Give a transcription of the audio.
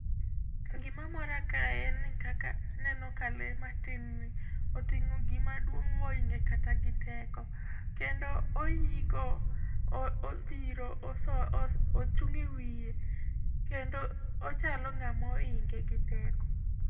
Gimamora kae en ni kaka, aneno ka lee matin ni oting'o gimaduong' mohinge kata giteko, kendo oigo, odhiro oso ochung' ewiye kendo ochalo ng'amoinge giteko.